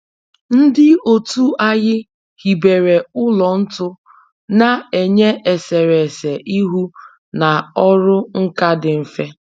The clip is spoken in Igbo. Ndị otu anyị hibere ụlọ ntu na-enye eserese ihu na ọrụ nka dị mfe